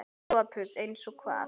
SOPHUS: Eins og hvað?